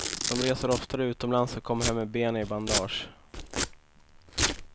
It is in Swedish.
De reser oftare utomlands och kommer hem med benet i bandage.